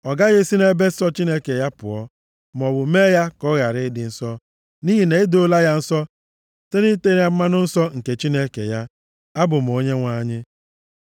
Ọ gaghị esi nʼebe nsọ Chineke ya pụọ, maọbụ mee ya ka ọ ghara ịdị nsọ, nʼihi na e doola ya nsọ site na ite ya mmanụ nsọ nke Chineke ya. Abụ m Onyenwe anyị.